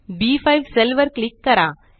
B5 cell वर click करा